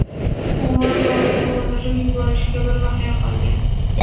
U o‘z o‘g‘lini o‘ldirib yuborishiga bir baxya qolgan.